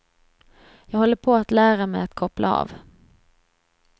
Jag håller på att lära mig att koppla av.